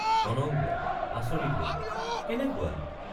অনঙ্গ— আচৰিত হৈ কেনেকুৱা।